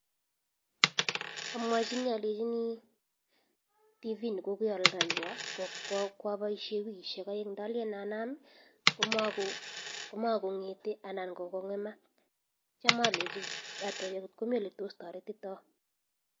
Amwachini alechinii tv nekoadaywo kwa baishe wikishek aeng ndalen anam komakongete ana kokongemak atya atebee ngotkomii oletos taretita